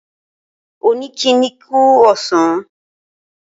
Ó ní kí ń kí kú àsán